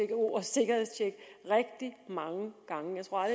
ordet sikkerhedstjek rigtig mange gange jeg tror